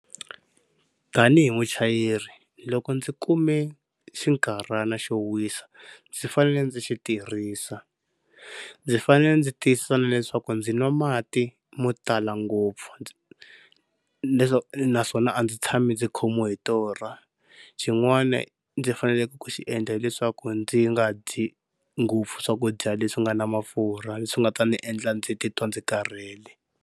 Tani hi muchayeri loko ndzi kume xinkarhana xo wisa ndzi fanele ndzi xi tirhisa. Ndzi fanele ndzi tiyisisa na leswaku ndzi nwa mati mo tala ngopfu leswaku naswona a ndzi tshami ndzi khomiwi hi torha. Xin'wani ndzi faneleke ku xi endla hileswaku ndzi nga dyi ngopfu swakudya leswi nga na mafurha leswi nga ta ndzi endla ndzi titwa ndzi karhele.